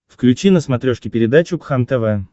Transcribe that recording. включи на смотрешке передачу кхлм тв